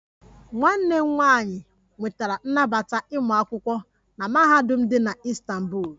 Nwanne m nwanyị nwetara nnabata ịmụ akwụkwọ na mahadum dị na Istanbul